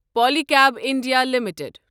Pali کیٖب India limited